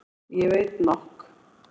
Ég veit nokk.